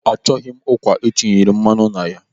Achọghị m ụkwa etinyere mmanụ na ya.